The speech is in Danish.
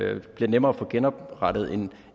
at det bliver nemmere at få genoprettet en